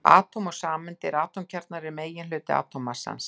Atóm og sameindir Atómkjarnar eru meginhluti atómmassans.